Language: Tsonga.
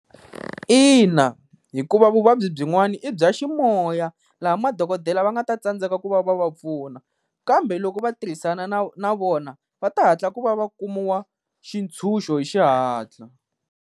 Ina hikuva vuvabyi byin'wana i bya ximoya, laha madokodela va nga ta tsandzeka ku va va va pfuna kambe loko va tirhisana na na vona va ta hatla ku va va kumiwa xitshunxo hi xihatla.